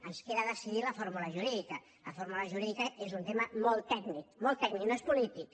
ens queda decidir ne la fórmula jurídica la fórmula jurídica és un tema molt tècnic molt tècnic no és polític